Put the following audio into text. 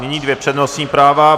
Nyní dvě přednostní práva.